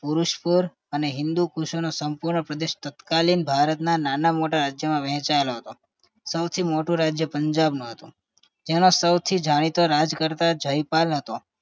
પુરસ્પર એન હિંદુકુશ નો સંપૂર્ણ પ્રદેશ તત્કાલીન ભારતના નાના-મોટા રાજ્યમાં વહેંચાયેલો હતો સૌથી મોટું રાજ્ય પંજાબમાં હતું તેમાં સૌથી જાણીતા રાજ કરતા જયપાલ હતો